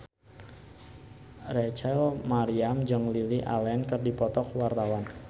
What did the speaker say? Rachel Maryam jeung Lily Allen keur dipoto ku wartawan